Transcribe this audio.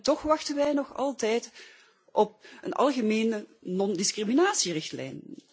Toch wachten wij nog altijd op een algemene non discriminatierichtlijn.